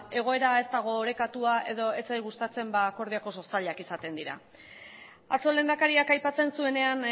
egoera ez dago orekatua edo ez zait gustatzen ba akordioak oso zailak izaten dira atzo lehendakariak aipatzen zuenean